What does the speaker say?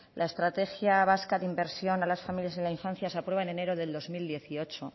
la estrategia vasca de inversión a las familias y la infancia se aprueba en enero de dos mil dieciocho